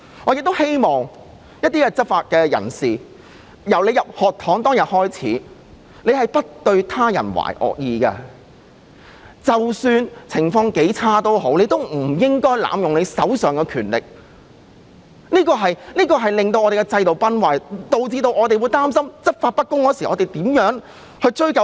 我想對一些執法者說，你們進入學堂時，不對他人懷惡意，即使情況很差，也不應該濫用手上的權力，否則我們的制度會崩壞，市民會擔心執法不公的時候無法追究。